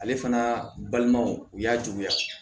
Ale fana balimaw u y'a juguya